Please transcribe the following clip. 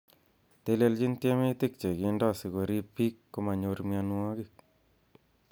Telechin tiemitik che kindo sikoriib bik komonyor mionwogik.